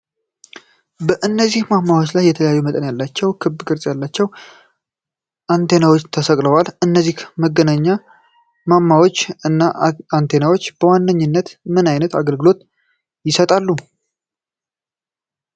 በእነዚህ ማማዎች ላይ የተለያዩ መጠኖች ያላቸው ክብ ቅርጽ ያላቸው አንቴናዎች ተሰቅለዋል። እነዚህ የመገናኛ ማማዎች እና አንቴናዎች በዋነኝነት ምን ዓይነት አገልግሎት ይሰጣሉ?